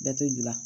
Bɛɛ tɛ gilan